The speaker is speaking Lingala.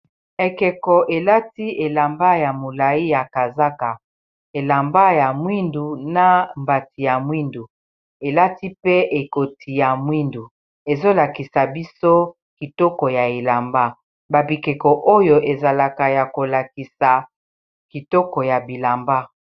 ekeko elati elamba ya molai ya kazaka elamba ya mwindu na mbati ya mwindu elati pe ekoti ya mwindu ezolakisa biso kitoko ya elamba babikeko oyo ezalaka ya kolakisa kitoko ya bilamba